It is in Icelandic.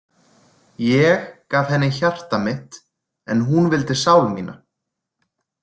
Ég gaf henni hjarta mitt en hún vildi sál mína.